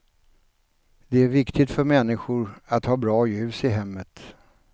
Det är viktigt för människor att ha bra ljus i hemmet.